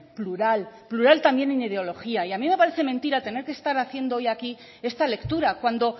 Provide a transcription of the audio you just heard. plural plural en ideología y a mí me parece mentira tener que estar aquí hoy haciendo esta lectura cuando